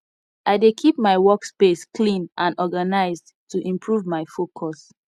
i dey keep my workspace clean and organized to improve my focus